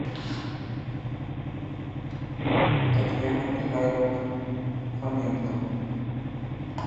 татьяна михайловна фоменко